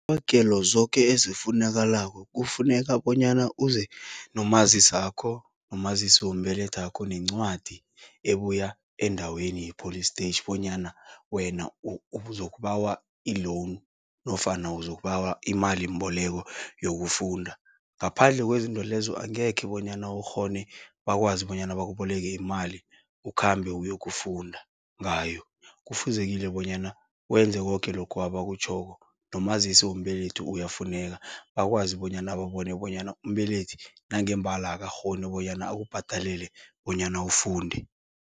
Iintlabagelo zoke efunakalako, kufuneka bonyana uze nomazisakho, nomazisombelethakho. Nencwadi ebuya endaweni yepholistetjhi, bonyana wena uzokubawa i-loan, nofana uzokubawa imalimbolekwa yokufunda. Ngaphandle kwezinto lezo, angekhe bonyana ukghone bakwazi bonyana bakuboleke imali, ukhambe uyokufunda ngayo. Kufuzekile bonyana, wenze koke lokhu abakutjhoko. Nomazisombelethi uyafuneka, bakwazi bonyana babone bonyana umbelethi, nangembala akakghoni bonyana akubhadelele bonyana ufunde.